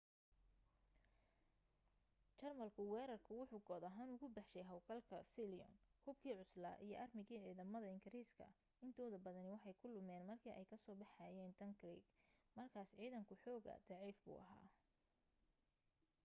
jarmalku weerarku wuxu kood ahaan ugu baxshay hawlgalka sealion". hubkii cuslaa iyo aarmigii ciidamada ingiriiska intooda badani waxay ku lumeen markii ay ka soo baxayeen dunkirk markaas ciidanku xoogaa daciif buu ahaa